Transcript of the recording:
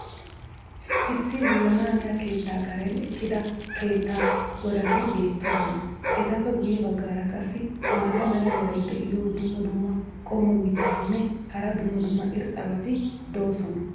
issi wullanaaniya keettaa karen eqqida keettaa godati beetoosona. etappe guye bagaara qassi maata mala meray diyo dumma dumma qommo mitattinne hara dumma dumma irxxabati de'oosona.